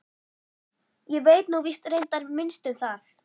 Ég veit nú víst reyndar minnst um það.